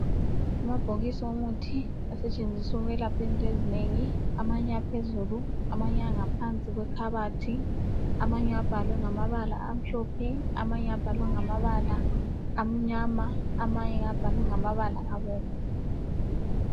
Amabhokisi womuthi asetshenziswa ukwelapha into ezinengi amanye aphezulu amanye angaphansi kwekhabathi, amanye abhalwe ngamabala amhlophe amanye abhalwe ngamabala amnyama. Amanye abhalwe ngamabala abomvu.